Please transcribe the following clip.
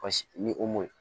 Pasi ni o mɔ ye